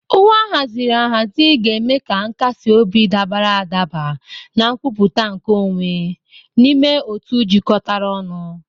Uwe ahaziri ahazi ga-eme ka nkasi obi, dabara adaba na nkwupụta nke onwe n'ime otu jikọtara ọnụ.